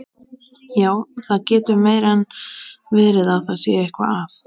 Já, það getur meira en verið að það sé eitthvað að.